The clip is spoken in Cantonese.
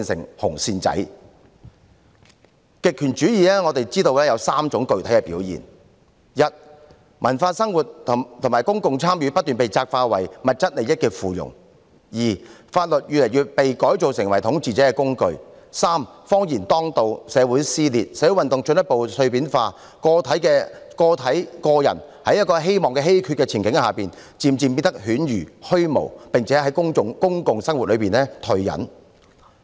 我們知道極權主義有3種具體的表現：一，文化生活和公共參與不斷被窄化為物質利益的附庸；二，法律越來越被改造成為統治者的工具；三，謊言當道，社會撕裂，社會運動進一步碎片化，個人在希望稀缺的前景下，漸漸變得犬儒虛無，並從公共生活中退隱。